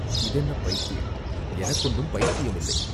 "இது என்ன பைத்தியம்?" "எனக்கு ஒன்றும் பைத்தியம் இல்லை!